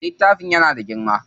Littafin yana da girma.